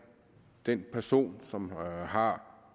den person som har